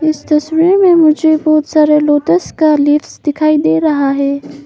इस तस्वीर में मुझे बहोत सारे लोटस का लीव्स दिखाई दे रहा है।